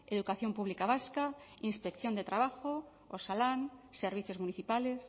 educación pública vasca inspección de trabajo osalan servicios municipales